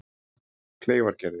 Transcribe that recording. Kleifargerði